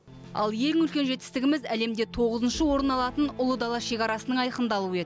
ал ең үлкен жетістігіміз әлемде тоғызыншы орын алатын ұлы дала шекарасының айқындалуы еді